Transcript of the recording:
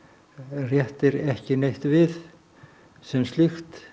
réttir ekki neitt við sem slíkt